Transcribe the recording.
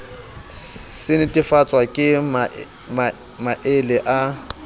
se netefatswa ke maele a